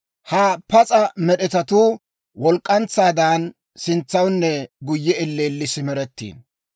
Ha pas'a med'etatuu walk'k'antsaadan, sintsawunne guyye elleelli simerettiino.